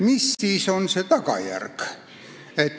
Mis siis on selle tagajärg?